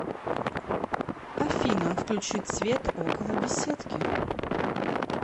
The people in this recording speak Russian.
афина включить свет около беседки